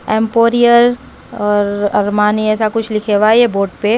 Emporio और Armani ऐसा कुछ लिखा हुआ है यह बोर्ड पे।